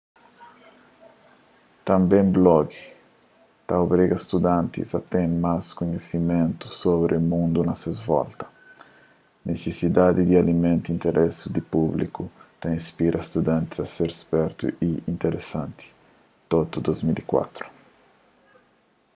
tânbe blogi ta obriga studantis a ten más kunhisimentu sobri mundu na ses volta.” nisisidadi di alimenta interesi di públiku ta inspira studantis a ser spertu y interesanti toto 2004